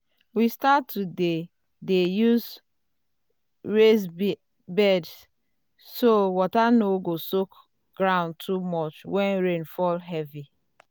we start to dey dey use raised beds so water no go soak ground too much when rain fall heavy.